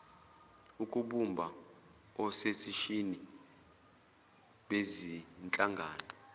ukubumba ososeshini bezinhlangano